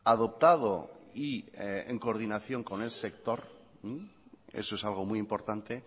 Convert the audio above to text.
adoptado y en coordinación con el sector eso es algo muy importante